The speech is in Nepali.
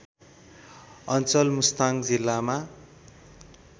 अञ्चल मुस्ताङ जिल्लामा